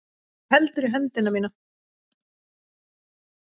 Þú heldur í höndina mína.